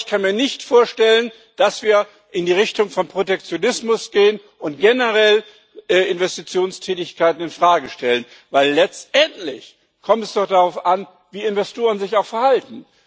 Aber ich kann mir nicht vorstellen, dass wir in die Richtung von Protektionismus gehen und generell Investitionstätigkeiten in Frage stellen, weil es letztendlich doch darauf ankommt, wie Investoren sich verhalten.